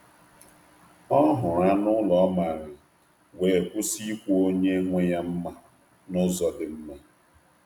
Ọ hụrụ anụ ụlọ ọ maara, wee kwụsị ikwu onye nwe ya mma n’ụzọ dị mma.